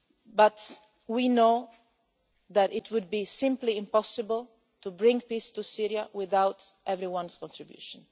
But we know that it would simply be impossible to bring peace to Syria without everyone's contribution.